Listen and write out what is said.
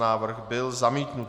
Návrh byl zamítnut.